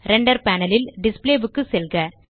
render panel ல் display வுக்கு செல்க